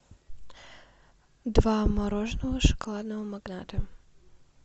два мороженого шоколадного магната